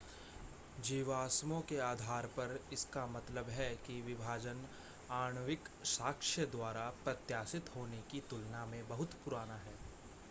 जीवाश्मों के आधार पर इसका मतलब है कि विभाजन आणविक साक्ष्य द्वारा प्रत्याशित होने की तुलना में बहुत पुराना है